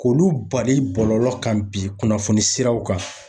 K'olu bali bɔlɔlɔ kan bi kunnafoni siraw kan.